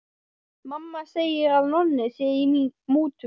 Mamma segir að Nonni sé í mútum.